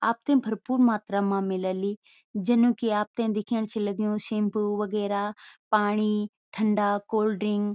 आपथे भरपूर मात्रा मा मिलली जनु की आपथे दिखेणु छन लग्युं शैम्पू वगैरा पाणी ठंडा कोल्ड ड्रिंक ।